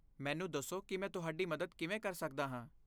ਮੈਨੂੰ ਦੱਸੋ ਕਿ ਮੈਂ ਤੁਹਾਡੀ ਮਦਦ ਕਿਵੇਂ ਕਰ ਸਕਦਾ ਹਾਂ?